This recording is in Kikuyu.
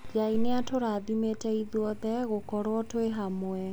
Ngai nĩatũrathimĩte ithuothe gũkorwo twĩ hamwe.